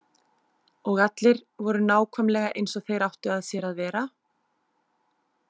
Og allir voru nákvæmlega eins og þeir áttu að sér að vera?